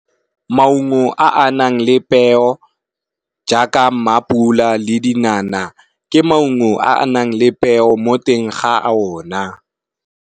Maungo a nang le peo jaaka mapula le dinana, ke maungo a nang le peo mo teng ga a ona.